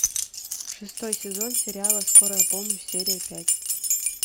шестой сезон сериала скорая помощь серия пять